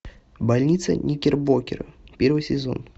больница никербокер первый сезон